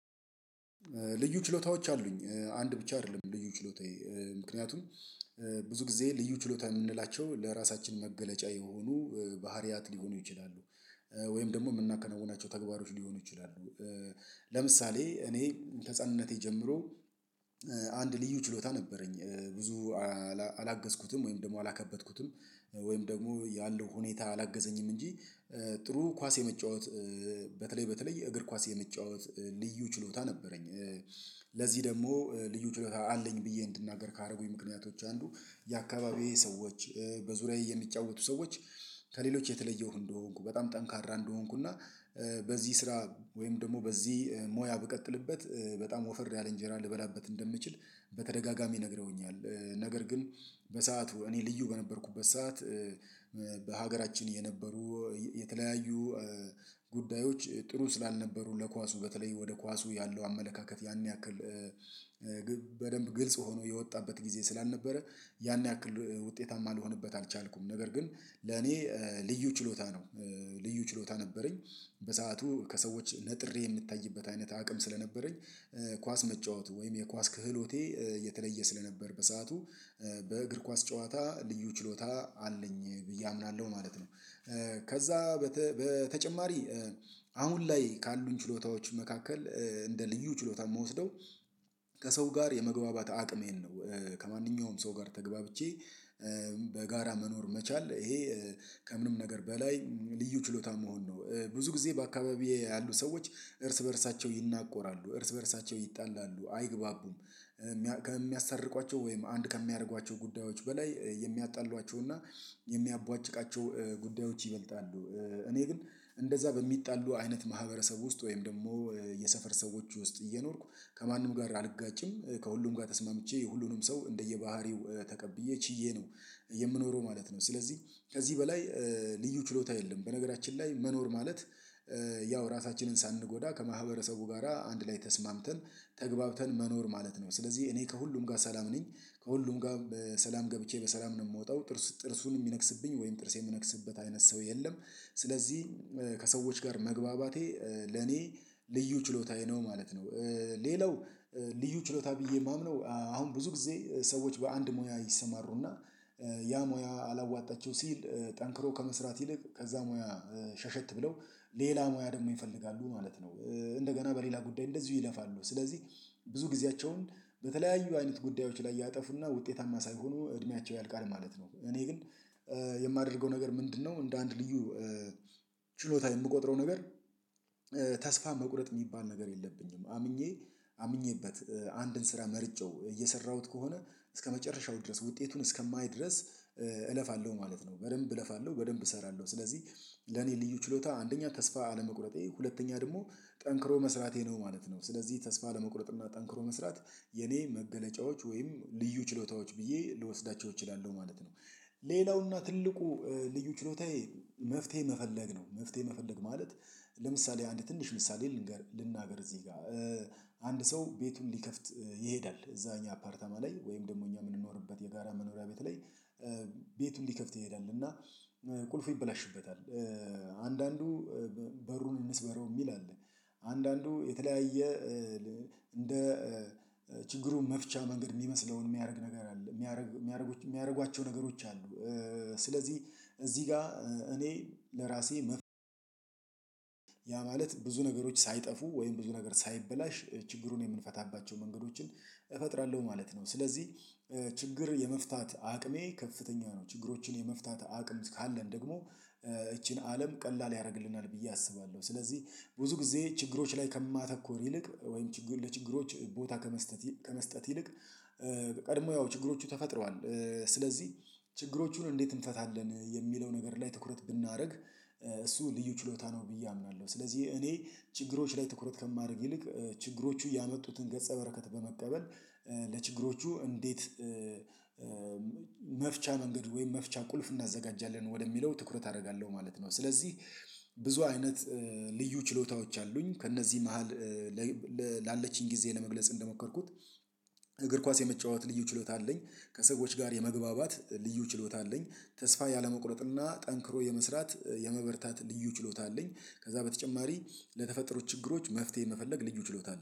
ልዩ ችሎታዎች አሉኝ አንድ ብቻ አይደለም ልዩ ችሎታዬ ምክንያቱም ብዙ ጊዜ ልዩ ችሎታ የምንላቸው ለራሳችን መገለጫ የሆኑ ባህሪያት ሊሆኑ ይችላሉ ወይም ደግሞ የምናከናውናቸው ተግባሮች ሊሆኑ ይችላሉ። ለምሳሌ እኔ ተህጻንነቴ ጀምሮ አንድ ልዩ ችሎታ ነበረኝ ብዙ አላገዝኩትም ወይም ደግሞ አላከበትኩትም ወይም ደግሞ ያለው ሁኔታ አላገዘኝም እንጂ ጥሩ ኳስ የመጫወት በተለይ በተለይ የእግር ኳስ የመጫወት ልዩ ችሎታ ነበረኝ። ለዚህ ደግሞ ልዩ ችሎታ አለኝ ብዬ እንድናገር ካደረጉኝ ምክንያቶች አንዱ የአካባቢዬ ሰዎች በዙሪያዬ የሚጫወቱ ሰዎች ከሌሎች የተለየው እንደሆንኩ በጣም ጠንካራ እንደሆንኩ እና በዚህ ስራ ወይም ደግሞ በዚህ ሞያ ብቀጥልበት በጣም ወፈር ያለ እንጀራ ልበላበት እንደምችል በተደጋጋሚ ነግረውኛል ነገር ግን በሰአቱ እኔ ልዩ በነበርኩበት ሰዓት በሀገራችን የነበሩ የተለያዩ ጉዳዮች ጥሩ ስላልነበሩ ለኳሱ በተለይ ወደ ኳሱ ያለው አመለካከት ያን ያክል በደንብ ግልጽ ሆኖ የወጣበት ጊዜ ስላልነበረ ያን ያክል ውጤታማ ልሆንበት አልቻልኩም። ነገር ግን ለኔ ልዩ ችሎታ ነው ልዩ ችሎታ ነበረኝ በሰአቱ ከሰዎች ነጥሬ የምታይበት አይነት አቅም ስለነበረኝ ኳስ መጫወት ወይም የኳስ ክህሎቴ የተለየ ስለነበር በሰአቱ በእግር ኳስ ጨዋታ ልዩ ችሎታ አለኝ ብዬ አምናለሁ ማለት ነው። ከዛ በተጨማሪ አሁን ላይ ካሉን ችሎታዎች መካከል እንደ ልዩ ችሎታ የምወስደው ከሰው ጋር የመግባባት አቅሜን ነው ከማንኛውም ሰው ጋር ተገባብቼ በጋራ መኖር መቻል ይሄ ከምንም ነገር በላይ ልዩ ችሎታ መሆን ነው ብዙ ጊዜ በአካባቢዬ ያሉ ሰዎች እርስ በእርሳቸው ይናቆራሉ እርስ በእርሳቸው ይጣላሉ አይግባቡም። ከሚያስታርቋቸው ወይም አንድ ከሚያደርጓቸው ጉዳዮች በላይ የሚያጣሏቸው እና የሚያቧጭቃቸው ጉዳዮች ይበልጣሉ። እኔ ግን እንደዛ በሚጣሉ አይነት ማህበረሰብ ውስጥ ወይም ደግሞ የሰፈር ሰዎች ውስጥ እየኖርኩ ከማንም ጋር አልጋጭም ከሁሉም ጋር ተስማምቼ የሁሉንም ሰው እንደየባህሪው ተቀብዬ ችዬ ነው የምኖረው ማለት ነው። ስለዚህ ከዚህ በላይ ልዩ ችሎታ የለም በነገራችን ላይ መኖር ማለት ያው ራሳችንን ሳንጎዳ ከማህበረሰቡ ጋራ አንድ ላይ ተስማምተን ተግባብተን መኖር ማለት ነው ስለዚህ እኔ ከሁሉም ጋር ሰላም ነኝ ከሁሉም ጋር ሰላም ገብቼ በሰላም ነው የምወጣው ጥርሱን የሚነክስብኝ ወይም ጥርስ የምነክስበት አይነት ሰው የለም ስለዚህ ከሰዎች ጋር መግባባቴ ለኔ ልዩ ችሎታዬ ነው ማለት ነው። ሌላው ልዩ ችሎታ ብዬ የማምነው አሁን ብዙ ጊዜ ሰዎች በአንድ ሙያ ይሰማሩና ያ ሙያ አላዋጣችው ሲል ጠንክሮ ከመስራት ይልቅ ከዛ ሙያ ሸሸት ብለው ሌላ ሙያ ደግሞ ይፈልጋሉ ማለት ነው እንደገና በሌላ ጉዳይ እንደዚሁ ይለፋሉ ስለዚህ ብዙ ጊዜያቸውን በተለያዩ አይነት ጉዳዮች ላይ ያጠፉና ውጤታማ ሳይሆኑ እድሜያቸው ያልቃል ማለት ነው። እኔ ግን የማደርገው ነገር ምንድነው እንደ አንድ ልዩ ችሎታ የምቆጥረው ነገር ተስፋ መቁረጥ የሚባል ነገር የለብኝም። አምኜ አምኜበት አንድን ስራ መርጨው እየሰራሁት ከሆነ እስከመጨረሻው ድረስ ውጤቱን እስከማይድረስ እለፋለሁ ማለት ነው። በደንብ እለፋለሁ በደንብ እሰራለሁ ስለዚህ ለኔ ልዩ ችሎታ አንደኛ ተስፋ አለመቁረጤ ሁለተኛ ደግሞ ጠንክሮ መስራቴ ነው ማለት ነው ስለዚህ ተስፋ አለመቁረጥ እና ጠንክሮ መስራት የኔ መገለጫዎች ወይም ልዩ ችሎታዎች ብዬ ልወስዳቸው እችላለሁ ማለት ነው። ሌላውና ትልቁ ልዩ ችሎታዬ መፍትሄ መፈለግ ነው መፍትሄ መፈለግ ማለት ለምሳሌ አንድ ትንሽ ምሳሌ ልንገር ልናገር እዚህ ጋር አንድ ሰው ቤቱን ሊከፍት ይሄዳል እዛ እኛ አፓርተማ ላይ ወይም ደግሞ እኛ የምንኖርበት የጋራ መኖሪያ ቤት ላይ ቤቱን ሊከፍት ይሄዳል እና ቁልፉ ይበላሽበታል አንዳንዱ በሩን እንስበረው የሚል አለ አንዳንዱ የተለያየ እንደ ችግሩ መፍቻ መንገድ የሚመስለውን የሚያደርግ ነገር አለ የሚያደርግ የሚያደርጉ የሚያደርጓቸው ነገሮች አሉ ስለዚህ እዚህ ጋር እኔ ለራሴ መፍትሄ ያ ማለት ብዙ ነገሮች ሳይጠፉ ወይም ብዙ ነገር ሳይበላሽ ችግሩን የምንፈታባቸው መንገዶችን እፈጥራለሁ ማለት ነው። ስለዚህ ችግር የመፍታት አቅሜ ከፍተኛ ነው ችግሮችን የመፍታት አቅም ካለን ደግሞ ይቺን አለም ቀላል ያደርግልናል ብዬ አስባለሁ። ስለዚህ ብዙ ጊዜ ችግሮች ላይ ከማተኮር ይልቅ ወይም ችግሩ ለችግሮች ቦታ ከመስጠት ከመስጠት ይልቅ ቀድሞ ያው ችግሮቹ ተፈጥረዋል ስለዚህ ችግሮቹን እንዴት እንፈታለን የሚለው ነገር ላይ ትኩረት ብናደርግ እሱ ልዩ ችሎታ ነው ብዬ አምናለሁ። ስለዚህ እኔ ችግሮች ላይ ትኩረት ከማደርግ ይልቅ ችግሮቹ ያመጡትን ገጸ በረከት በመቀበል ለችግሮቹ እንዴት መፍቻ መንገድ ወይም መፍቻ ቁልፍ እናዘጋጃለን ወደሚለው ትኩረት አደርጋለሁ ማለት ነው። ስለዚህ ብዙ አይነት ልዩ ችሎታዎች አሉኝ ከእነዚህ መሃል ላለችኝ ጊዜ ለመግለጽ እንደሞከርኩት እግር ኳስ የመጫወት ልዩ ችሎታ አለኝ ከሰዎች ጋር የመግባባት ልዩ ችሎታ አለኝ ተስፋ ያለመቁረጥና ጠንክሮ የመስራት የመበርታት ልዩ ችሎታ አለኝ ከዛ በተጨማሪ ለተፈጠሩ ችግሮች መፍትሄ መፈለግ ልዩ ችሎታ አለኝ